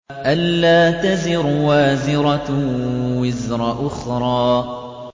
أَلَّا تَزِرُ وَازِرَةٌ وِزْرَ أُخْرَىٰ